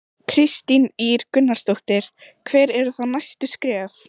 Kristín Ýr Gunnarsdóttir: Hver eru þá næstu skref?